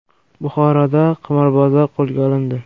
Buxoroda qimorbozlar qo‘lga olindi.